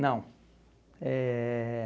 Não. Eh